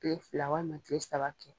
Kile fila walima kile saba kɛ